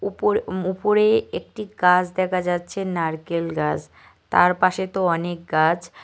উপর উপরে একটি গাছ দেখা যাচ্ছে নারকেল গাছ তার পাশে তো অনেক গাছ।